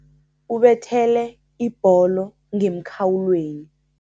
Ubethele ibholo ngemkhawulweni.